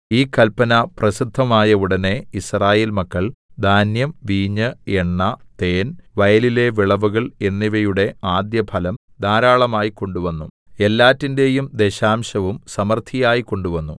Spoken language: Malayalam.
ഈ കല്പന പ്രസിദ്ധമായ ഉടനെ യിസ്രായേൽ മക്കൾ ധാന്യം വീഞ്ഞ് എണ്ണ തേൻ വയലിലെ വിളവുകൾ എന്നിവയുടെ ആദ്യഫലം ധാരാളമായി കൊണ്ടുവന്നു എല്ലാറ്റിന്റെയും ദശാംശവും സമൃദ്ധിയായി കൊണ്ടുവന്നു